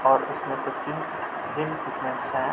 और इसमें कुछ --